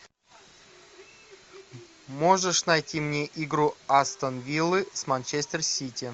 можешь найти мне игру астон виллы с манчестер сити